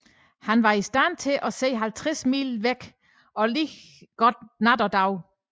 Han var i stand til at se 50 mile bort og lige godt dag og nat